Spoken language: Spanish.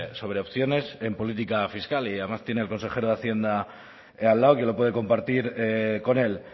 sobre opciones en política fiscal y además tiene el consejero de hacienda al lado que lo puede compartir con él